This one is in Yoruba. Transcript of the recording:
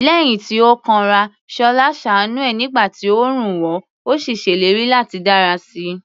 Lẹ́yìn tí ó kanra, Ṣọlá ṣàánú ẹ̀ nígbà tí oòrùn wọ̀, ó sì ṣèlérí láti dára sí i.